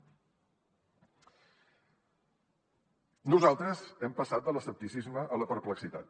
nosaltres hem passat de l’escepticisme a la perplexitat